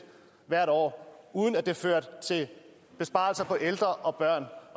hvert år uden at det førte til besparelser for ældre og børn